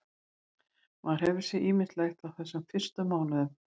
Maður hefur séð ýmislegt á þessum fyrstu mánuðum.